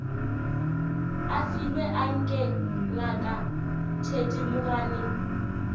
a filwe anke ngaka thedimogane